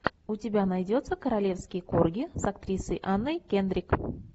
у тебя найдется королевские корги с актрисой анной кендрик